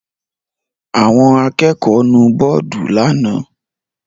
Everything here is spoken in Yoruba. Àwọn akẹ́kọ̀ọ́ nu bọ́ọ́dù lánàá?